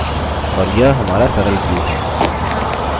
और यह हमारा सरल view है